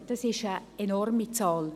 Das ist eine enorme Zahl.